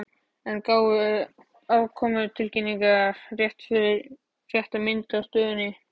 En gáfu afkomutilkynningar rétta mynd af stöðunni?